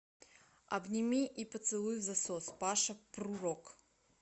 обними и поцелуй взасос паша прурок